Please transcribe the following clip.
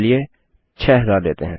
चलिए 6000 लेते हैं